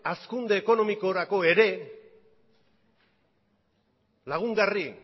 hazkunde ekonomikorako ere lagungarri